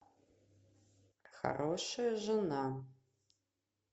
хорошая жена